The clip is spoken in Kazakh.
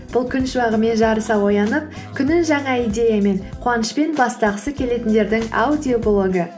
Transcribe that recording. бұл күн шуағымен жарыса оянып күнін жаңа идеямен қуанышпен бастағысы келетіндердің аудиоблогы